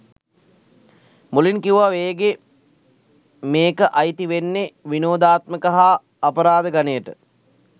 මුලින් කිව්වා වේගේ මේක අයිති වෙන්නේ විනෝදාත්මක හා අපරාධ ගණයට.